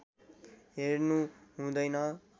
हेर्नु हुँदैन